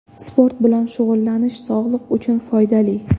Sport bilan shug‘ullanish sog‘liq uchun foydali.